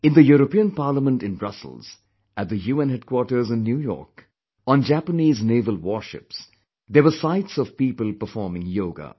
In the European Parliament in Brussels, at the UN headquarters in New York, on Japanese naval warships, there were sights of people performing yoga